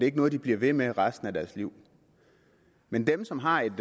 ikke noget de bliver ved med resten af deres liv men dem som har et